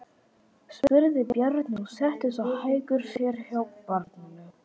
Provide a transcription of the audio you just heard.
spurði Bjarni og settist á hækjur sér hjá barninu.